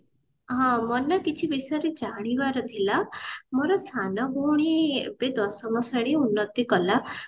ହଁ ମୋର ନା କିଛି ବିଷୟରେ ଜାଣିବାର ଥିଲା ମୋର ସାନ ଭଉଣୀ ଏବେ ଦଶମ ଶ୍ରେଣୀ ଉନ୍ନତି କଲା